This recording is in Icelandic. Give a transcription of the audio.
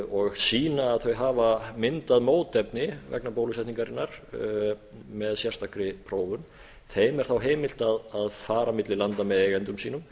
og sýna að þau hafa myndað mótefni vegna bólusetningarinnar með sérstakri prófun þeim er heimilt að fara bil landa með eigendum sínum